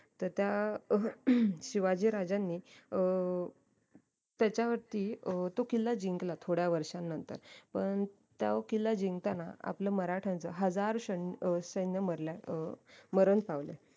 तर त्या अह शिवाजी राज्यांनी अं त्याच्यावरती तो किल्ला जिंकला थोड्या वर्षानंतर पण त्यो किल्ला जिंकताना आपलं मराट्यांचं हजार ष्ण अं सैन्य मारलाय अं मरण पावलय